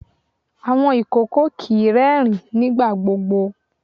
Awọn ìkòkò kìí rẹ́ẹ̀rín nígbà gbogbo.